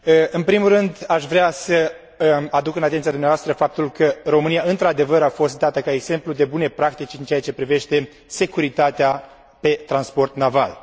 În primul rând, aș vrea să aduc în atenția dumneavoastră faptul că România, într adevăr, a fost dată ca exemplu de bune practici în ceea ce privește securitatea pe transportul naval.